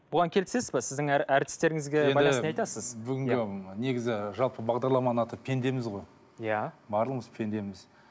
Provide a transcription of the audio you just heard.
бұған келісесіз бе сіздің әртістеріңізге байланысты не айтасыз бүгінгі негізі жалпы бағдарламаның аты пендеміз ғой иә барлығымыз пендеміз